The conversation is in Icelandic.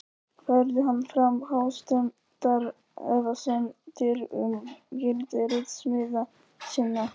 Færði hann fram hástemmdar efasemdir um gildi ritsmíða sinna.